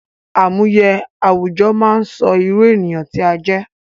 Àmúye àwùjọ máa sọ irú ènìyàn tí a jẹ́